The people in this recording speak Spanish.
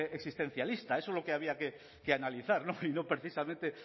existencialista eso es lo que habría que analizar y no precisamente